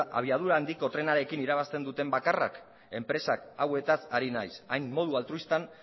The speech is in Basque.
abiadura handiko trenarekin irabazten duten bakarrak enpresa hauetaz ari naiz hain modu altruistan